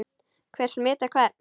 Hver smitar hvern?